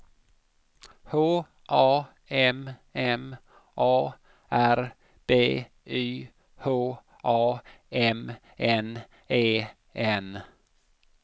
H A M M A R B Y H A M N E N